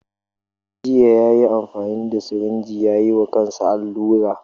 Jiya yayi amfani da sirinji ya yiwa kansa allura.